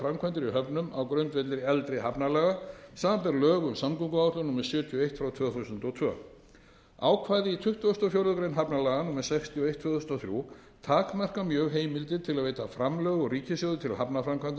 í höfnum á grundvelli eldri hafnalaga samanber lög um samgönguáætlun númer sjötíu og eitt tvö þúsund og tvö ákvæði í tuttugasta og fjórðu grein hafnalaga númer sextíu og eitt tvö þúsund og þrjú takmarka mjög heimildir til að veita framlög úr ríkissjóði til